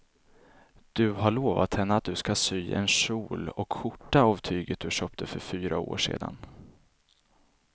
Du har lovat henne att du ska sy en kjol och skjorta av tyget du köpte för fyra år sedan.